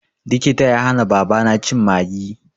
Likita ya hana babana cin Maggi.